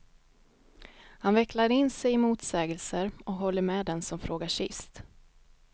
Han vecklar in sig i motsägelser och håller med den som frågar sist.